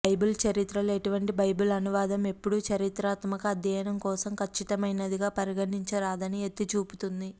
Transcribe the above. Bible చరిత్రలో ఎటువంటి Bible అనువాదము ఎప్పుడూ చారిత్రాత్మక అధ్యయనం కోసం ఖచ్చితమైనదిగా పరిగణించరాదని ఎత్తి చూపుతుంది